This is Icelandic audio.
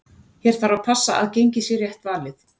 Hér þarf að passa að gengið sé rétt valið.